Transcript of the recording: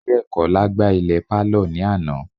Diekola gbá ilẹ̀ pálọ̀ ní àná